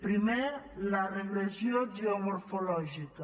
primer la regressió geomorfològica